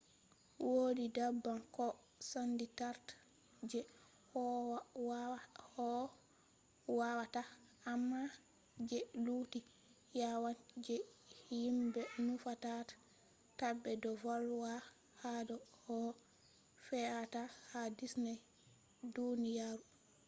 wodi daban ko sendirta je kowawata amma je lutti yawan je himɓe nufata tabe do volwa hado koh fe’ata ha disney duniyaru